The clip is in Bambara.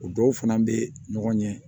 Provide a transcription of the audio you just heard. O dɔw fana bɛ ɲɔgɔn ɲɛ